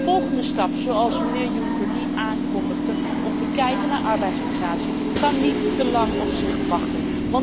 Maar de volgende stap, zoals mijnheer Juncker die aankondigde, om te kijken naar arbeidsmigratie, kan niet te lang op zich laten wachten.